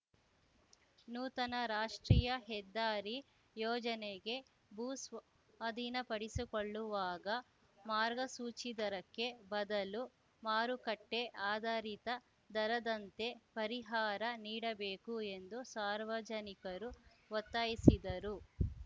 ನೂತನ ರಾಷ್ಟ್ರೀಯ ಹೆದ್ದಾರಿ ಯೋಜನೆಗೆ ಭೂ ಸ್ವಾ ಅಧೀನಪಡಿಸಿಕೊಳ್ಳುವಾಗ ಮಾರ್ಗಸೂಚಿ ದರಕ್ಕೆ ಬದಲು ಮಾರುಕಟ್ಟೆಆಧಾರಿತ ದರದಂತೆ ಪರಿಹಾರ ನೀಡಬೇಕು ಎಂದು ಸಾರ್ವಜನಿಕರು ಒತ್ತಾಯಿಸಿದರು